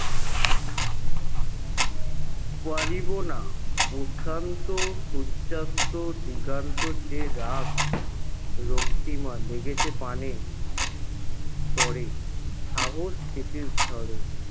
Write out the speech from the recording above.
পারিব না প্রশান্ত সূর্যাস্ত দিগান্ত যে রাগ রক্তিমা লেগেছে প্রাণে পরে সাহস স্মৃতির ঝড়ে